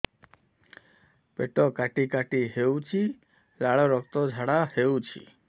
ପେଟ କାଟି କାଟି ହେଉଛି ଲାଳ ରକ୍ତ ଝାଡା ହେଉଛି